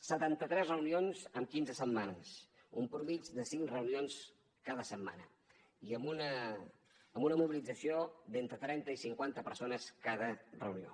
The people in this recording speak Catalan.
setanta tres reunions en quinze setmanes una mitjana de cinc reunions cada setmana i amb una mobilització d’entre trenta i cinquanta persones cada reunió